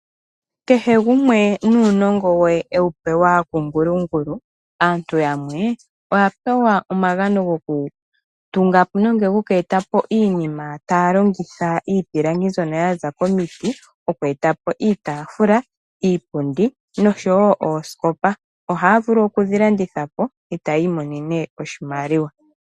Kehegumwe nuunongo we ewu pewa kuKalunga. Aantu yamwe oya pewa omagano gokweeta po iinima taya longitha iipilangi mbyoka yaza komiti. Oku eta po iitaafula, iipundi nosho woo osikopa, ohaya vulu oku dhilanditha po e tayi monene oshimaliwa.